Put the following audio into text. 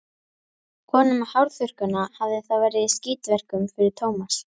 Konan með hárþurrkuna hafði þá verið í skítverkum fyrir Tómas.